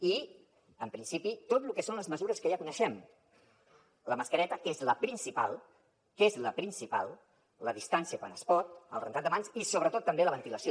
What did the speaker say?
i en principi tot lo que són les mesures que ja coneixem la mascareta que és la principal que és la principal la distància quan es pot el rentat de mans i sobretot també la ventilació